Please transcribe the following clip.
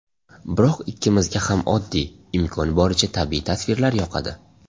Biroq ikkimizga ham oddiy, imkon boricha tabiiy tasvirlar yoqadi.